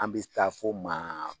An bɛ taa fo maa